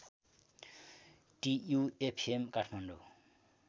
TU FM Kathmandu